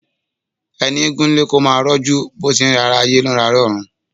Ẹni egún ń lé kó máa rọ́jú bó ti ńrẹ̀ ará ayé, ló ń rẹ ará ọ̀run.